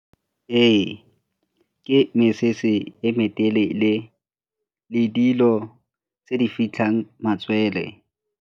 Ee, ke mesese e me telele le dilo tse di fitlhang matswele.